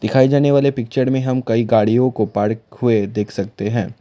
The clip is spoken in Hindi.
दिखाये जाने वाले पिक्चर में हम कई गाड़ियों को पार्क हुए देख सकते हैं।